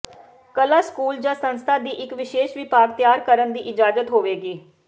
ਕਲਾ ਸਕੂਲ ਜ ਸੰਸਥਾ ਦੀ ਇੱਕ ਵਿਸ਼ੇਸ਼ ਵਿਭਾਗ ਤਿਆਰ ਕਰਨ ਦੀ ਇਜਾਜ਼ਤ ਹੋਵੇਗੀ